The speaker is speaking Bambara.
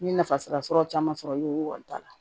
N ye nafa sara sɔrɔ caman sɔrɔ i ye o wari ta